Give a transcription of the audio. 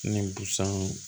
Ni busanw